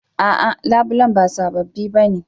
A'a labulen ba sababbi ba ne